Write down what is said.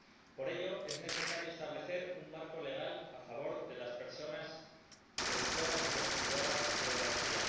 Por ello, es necesario establecer un marco legal a favor de las personas productoras y consumidoras de energía.